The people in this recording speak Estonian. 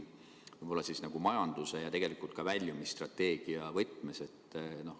Ma küsin majanduse ja tegelikult ka väljumisstrateegia võtmes.